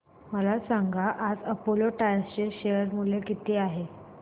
मला सांगा आज अपोलो टायर्स चे शेअर मूल्य किती आहे